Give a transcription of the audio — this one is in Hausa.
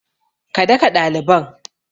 Ka daka ɗaliban!